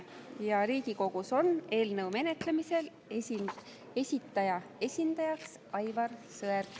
Ja Riigikogus on eelnõu menetlemisel esitaja esindajaks Aivar Sõerd.